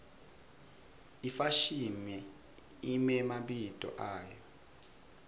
ifashimi imemabito ayo